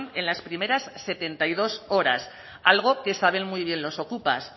en las primeras setenta y dos horas algo que saben muy bien los ocupas